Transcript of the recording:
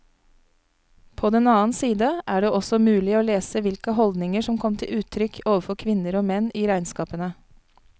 På den annen side er det også mulig å lese hvilke holdninger som kom til uttrykk overfor menn og kvinner i regnskapene.